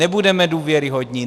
Nebudeme důvěryhodní!